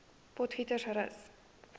potgietersrus